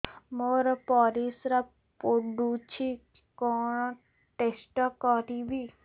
ମୋର ପରିସ୍ରା ପୋଡୁଛି କଣ ଟେଷ୍ଟ କରିବି